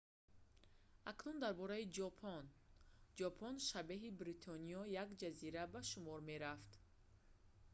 акнун дар бораи ҷопон ҷопон шабеҳи бритониё як ҷазира ба шумор мерафт